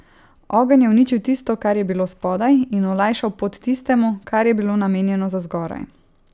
Ogenj je uničil tisto, kar je bilo spodaj, in olajšal pot tistemu, kar je bilo namenjeno za zgoraj.